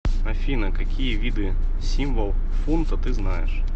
афина какие виды символ фунта ты знаешь